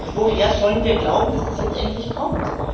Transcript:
Doch woher sollen wir glauben, dass das jetzt endlich kommt?